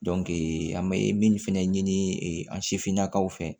an bɛ min fɛnɛ ɲini an sifinnakaw fɛ